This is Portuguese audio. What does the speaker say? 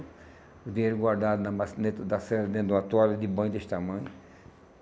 O dinheiro guardado na ba dentro da cena, dentro de uma toalha, de banho deste tamanho.